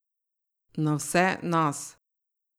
Na vse nas.